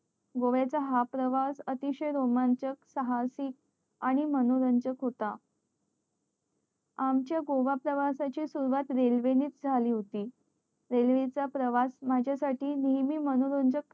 गोव्या चा हा प्रवास अतिशय रोमांचिक साहसी आणि मनोरंजक होता आमच्या गोव्या प्रवासा ची सुरुवात रेल्वे च ने झाली होती रेल्वे चा प्रवास माझ्या साठी नेहमी मनोरंजक